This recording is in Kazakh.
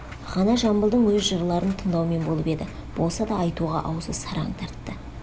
ғана жамбылдың өз жырларын тыңдаумен болып еді болса да айтуға аузы сараң тартты